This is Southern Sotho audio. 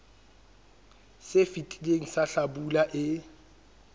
se fetileng sa hlabula e